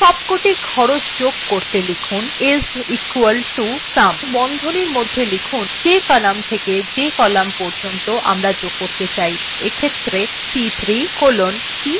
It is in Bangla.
সবকটি খরচ যোগ করতে লিখুন is equal to sum এবং বন্ধনীর মধ্যে যে কলাম থেকে যে কলাম পর্যন্ত আমরা যোগ করতে চাই অর্থাৎ c3 colon c7